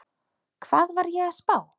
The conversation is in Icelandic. Hvað var ég að spá?